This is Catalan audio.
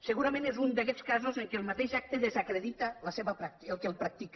segurament és un d’aquests casos en què el mateix acte desacredita el que el practica